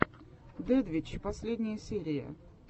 дэдвич последняя серия